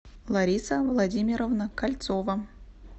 лариса владимировна кольцова